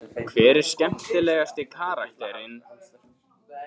Hver er skemmtilegasti karakterinn?